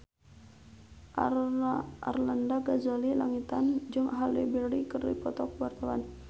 Arlanda Ghazali Langitan jeung Halle Berry keur dipoto ku wartawan